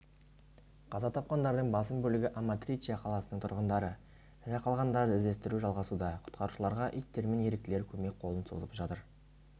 қаза тапқандардың басым бөлігі аматриче қаласының тұрғындары тірі қалғандарды іздестіру жалғасуда құтқарушыларға иттер мен еріктілер көмек қолын созып жатыр